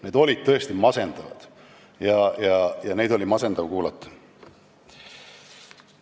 Need olid tõesti masendavad ja neid oli masendav kuulata.